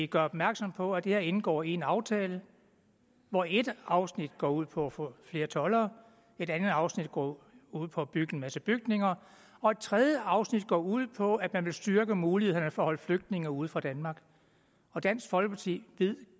gøre opmærksom på at det her indgår i en aftale hvor et afsnit går ud på at få flere toldere et andet afsnit går ud på at bygge en masse bygninger og et tredje afsnit går ud på at man vil styrke mulighederne for at holde flygtninge ude fra danmark og dansk folkeparti ved